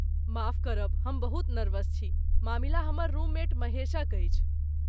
माफ करब, हम बहुत नर्वस छी। मामिला हमर रूममेट महेशक अछि।